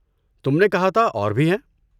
تم نے کہا تھا اور بھی ہیں؟